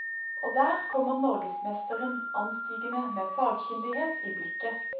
Og der kommer norgesmesteren anstigende med fagkyndighet i blikket.